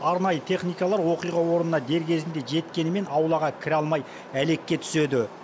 арнайы техникалар оқиға орнына дер кезінде жеткенімен аулаға кіре алмай әлекке түседі